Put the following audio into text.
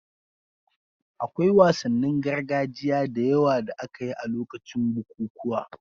Akwai wasannin gargajiya da yawa da aka yi a lokacin bukukuwa